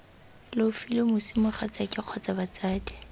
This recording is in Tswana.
leofile moswi mogatsaake kgotsa batsadi